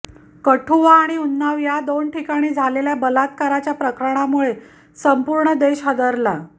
कठुआ आणि उन्नाव या दोन ठिकाणी झालेल्या बलात्काराच्या प्रकरणामुळे संपूर्ण देश हादरला